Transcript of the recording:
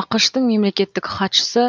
ақш тың мемлекеттік хатшысы